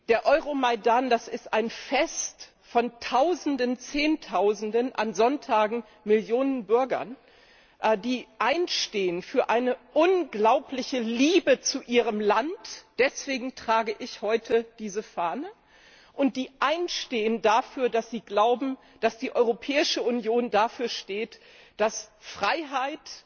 Der Euromaidan, das ist ein Fest von Tausenden, Zehntausenden, an Sonntagen Millionen Bürgern, die einstehen für eine unglaubliche Liebe zu ihrem Land deswegen trage ich heute diese Fahne die einstehen dafür, dass sie glauben, dass die Europäische Union dafür steht, dass Freiheit,